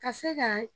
Ka se ka